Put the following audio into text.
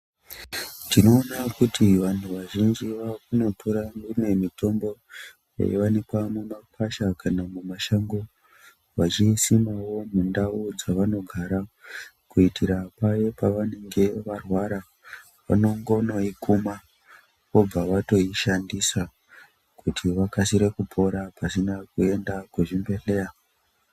Tinoona kuti vantu vazhinji vakunotora mimwe mitombo yaiwanikwa mumashango vachisimawo mundau dzavanogara kuitira paye pavanenge varwara vanongonoikuma vobva vaishandisa kuti vakasire kupora vasingazi kuenda kuchibhedhlera.